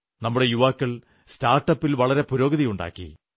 നമ്മുടെ യുവാക്കൾ സ്റ്റാർട്ടപ്പിൽ വളരെ പുരോഗതിയുണ്ടാക്കി